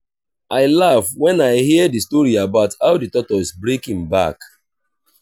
i laugh wen i hear the story about how the tortoise break im back